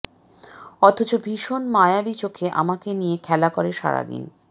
অথচ ভীষণ মায়াবী চোখে আমাকে নিয়ে খেলা করে সারাদিন